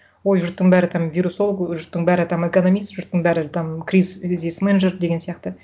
ой жұрттың бәрі там вирусолог жұрттың бәрі там экономист жұрттың бәрі там жұрт деген сияқты